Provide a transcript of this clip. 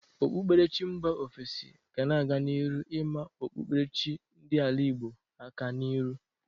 Okpukperechi mba ofesi ga na-aga n'iru ịma okpukperechi chi ndị ala Igbo aka n'iru